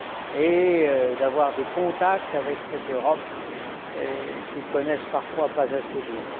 et d'avoir des contacts avec cette Europe qu'ils ne connaissent parfois pas assez bien.